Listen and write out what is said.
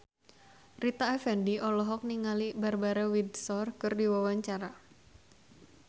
Rita Effendy olohok ningali Barbara Windsor keur diwawancara